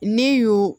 Ne y'o